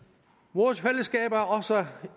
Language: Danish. vores fællesskab